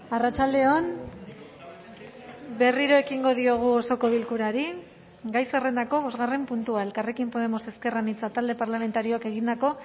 arratsalde on berriro ekingo diogu osoko bilkurari gai zerrendako bosgarren puntua elkarrekin podemos ezker anitza talde parlamentarioak egindako